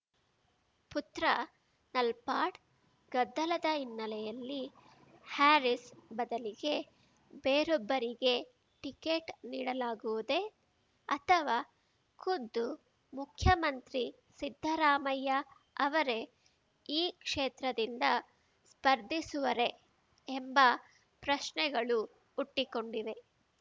ಪುತ್ರ ನಲ್ಪಾಡ್‌ ಗದ್ದಲದ ಹಿನ್ನೆಲೆಯಲ್ಲಿ ಹ್ಯಾರೀಸ್‌ ಬದಲಿಗೆ ಬೇರೊಬ್ಬರಿಗೆ ಟಿಕೆಟ್‌ ನೀಡಲಾಗುವುದೇ ಅಥವಾ ಖುದ್ದು ಮುಖ್ಯಮಂತ್ರಿ ಸಿದ್ದರಾಮಯ್ಯ ಅವರೇ ಈ ಕ್ಷೇತ್ರದಿಂದ ಸ್ಪರ್ಧಿಸುವರೇ ಎಂಬ ಪ್ರಶ್ನೆಗಳು ಹುಟ್ಟಿಕೊಂಡಿವೆ